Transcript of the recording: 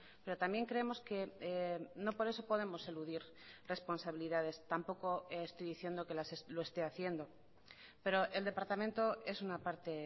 pero también creemos que no por eso podemos eludir responsabilidades tampoco estoy diciendo que lo esté haciendo pero el departamento es una parte